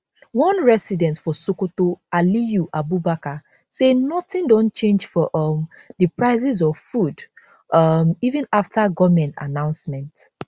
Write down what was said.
one resident for sokoto aliyu abubakar say nothing don change for um di prices of food um even afta goment announcement